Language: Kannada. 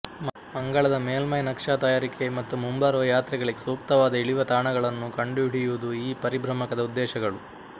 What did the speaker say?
ಮಂಗಳದ ಮೇಲ್ಮೈ ನಕ್ಷಾ ತಯಾರಿಕೆ ಮತ್ತು ಮುಂಬರುವ ಯಾತ್ರೆಗಳಿಗೆ ಸೂಕ್ತವಾದ ಇಳಿಯುವ ತಾಣಗಳನ್ನು ಕಂಡುಹಿಡಿಯುವುದು ಈ ಪರಿಭ್ರಮಕದ ಉದ್ದೇಶಗಳು